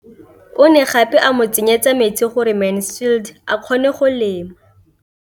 O ne gape a mo tsenyetsa metsi gore Mansfield a kgone go lema.